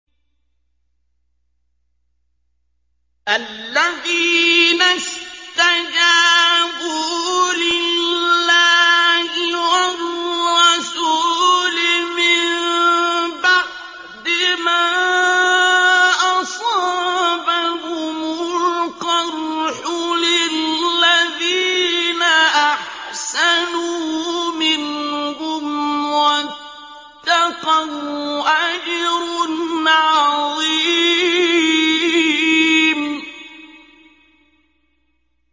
الَّذِينَ اسْتَجَابُوا لِلَّهِ وَالرَّسُولِ مِن بَعْدِ مَا أَصَابَهُمُ الْقَرْحُ ۚ لِلَّذِينَ أَحْسَنُوا مِنْهُمْ وَاتَّقَوْا أَجْرٌ عَظِيمٌ